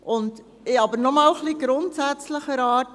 Ich habe aber noch etwas grundsätzlicher Art.